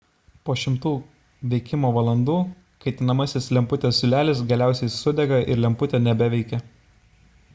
po šimtų veikimo valandų kaitinamasis lemputės siūlelis galiausiai sudega ir lemputė nebeveikia